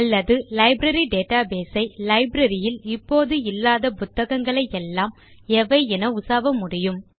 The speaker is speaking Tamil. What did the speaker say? அல்லது லைப்ரரி டேட்டாபேஸ் ஐ லைப்ரரி யில் இப்போது இல்லாத புத்தகங்களை எல்லாம் எவை என உசாவ முடியும்